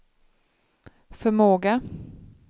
förmåga